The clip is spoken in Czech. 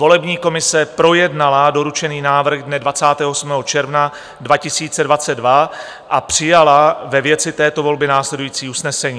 Volební komise projednala doručený návrh dne 28. června 2022 a přijala ve věci této volby následující usnesení.